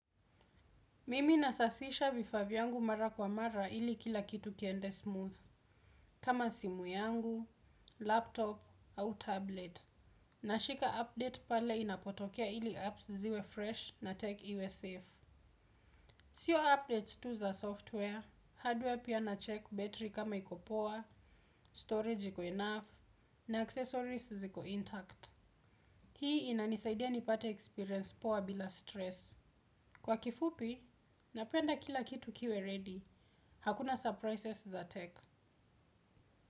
Mimi nasasisha vifaa vyangu mara kwa mara ili kila kitu kiende smooth, kama simu yangu, laptop, au tablet. Nashika update pale inapotokea ili apps ziwe fresh na tech iwe safe. Sio updates tu za software, hardware pia nacheck battery kama iko poa, storage iko enough, na accessories ziko intact. Hii inanisaidia nipate experience poa bila stress. Kwa kifupi, napenda kila kitu kiwe ready. Hakuna surprises za tech.